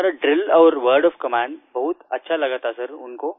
हमारा ड्रिल और word of commandबहुत अच्छा लगा था सिर उनको